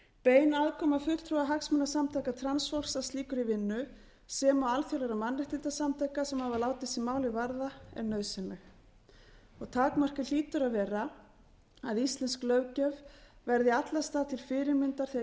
bein aðkoma fulltrúa hagsmunasamtaka transfólks að slíkri vinnu sem og alþjóðlegra mannréttindasamtaka sem hafa látið sig málið varða er nauðsynleg takmarkið hlýtur að vera að íslensk löggjöf verði í alla staði til fyrirmyndar þegar